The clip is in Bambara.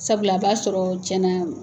Sabula a b'a sɔrɔ tiɲɛna